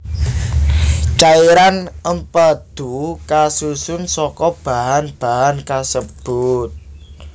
Cairan empadhu kasusun saka bahan bahan kasebut